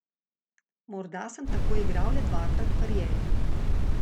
Morda sem tako igral le dvakrat v karieri.